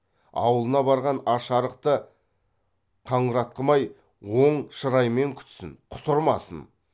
аулына барған аш арықты қыңратқымай оң шыраймен күтсін құтырмасын